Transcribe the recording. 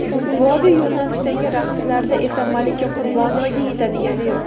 Vodiy yo‘nalishidagi raqslarda esa Malika Qurbonovaga yetadigani yo‘q.